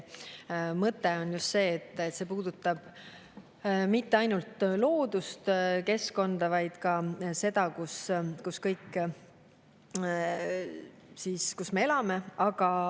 Mõte on just see, et see puudutab mitte ainult looduskeskkonda, vaid ka seda, kus me elame.